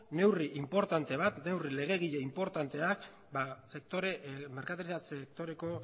neurri inportante bat neurri legegile inportanteak merkataritza sektoreko